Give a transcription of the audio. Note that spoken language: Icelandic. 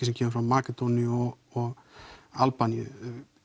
sem kemur frá Makedóníu og Albaníu